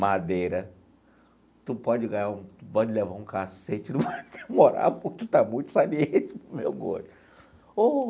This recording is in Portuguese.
Madeira, tu pode ganhar um pode levar um cacete, não pode demorar, porque tu está muito saliente para o meu gosto.